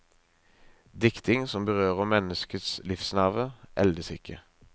Dikting som berører menneskets livsnerve, eldes ikke.